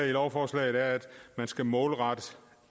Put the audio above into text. i lovforslaget er at man skal målrette